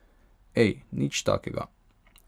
Ej, nič takega.